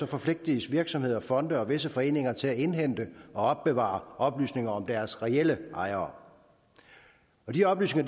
forpligtes virksomheder og fonde og visse foreninger til at indhente og opbevare oplysninger om deres reelle ejere de oplysninger